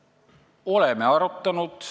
Oleme arutanud.